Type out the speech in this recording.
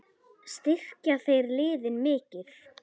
Styrkja þeir liðin mikið?